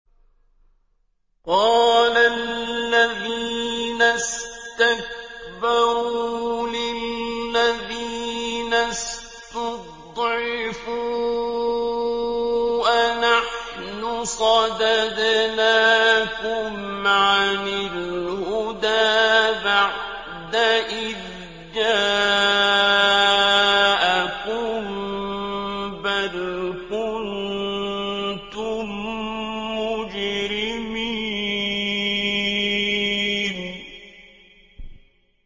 قَالَ الَّذِينَ اسْتَكْبَرُوا لِلَّذِينَ اسْتُضْعِفُوا أَنَحْنُ صَدَدْنَاكُمْ عَنِ الْهُدَىٰ بَعْدَ إِذْ جَاءَكُم ۖ بَلْ كُنتُم مُّجْرِمِينَ